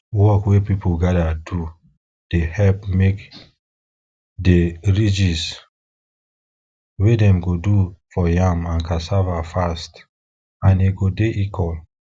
work wey people gather do dey help make de ridges wey dem go do for yam and cassava fast and e go dey equal